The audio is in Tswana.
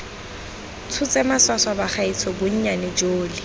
tshotse maswaswa bagaetsho bonnyane jole